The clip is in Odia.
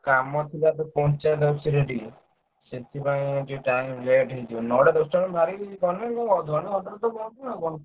କାମ ଥିଲା ତ ପଞ୍ଚାୟତ office ରେ ଟିକେ ସେଥିପାଇଁ ମୁଁ ଟିକେ time late ହେଇଯିବ। ନଅଟା ଦଶଟା ବେଳକୁ ବାହାରିକି ଏଠୁ ଗଲେ ମୁଁ ଅଧଘଣ୍ଟା ରେ ତ ପହଁଞ୍ଚିବି ଆଉ କଣ।